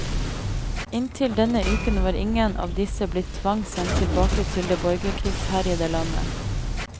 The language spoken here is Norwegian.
Inntil denne uken var ingen av disse blitt tvangssendt tilbake til det borgerkrigsherjede landet.